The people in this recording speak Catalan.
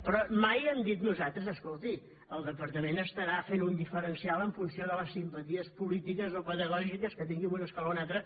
però mai hem dit nosaltres escolti el departament deu fer un diferencial en funció de les simpaties polítiques o pedagògiques que té per una escola o una altra